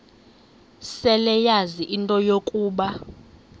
seleyazi into yokuba